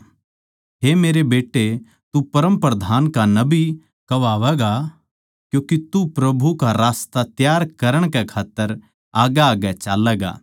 हे मेरे बेट्टे तू परमप्रधान का नबी कहवावैगा क्यूँके तू प्रभु का रास्ता त्यार करण कै खात्तर आग्गैआग्गै चाल्लैगा